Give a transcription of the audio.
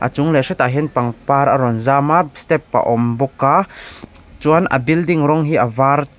a chung leh hretah hian pangpar a rawn zam a step a awm bawk a chuan a building rawng hi a var.